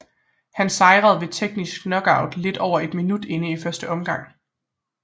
Han sejrede ved teknisk knockout lidt over et minut inde i første omgang